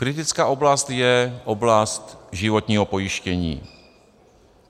Kritická oblast je oblast životního pojištění.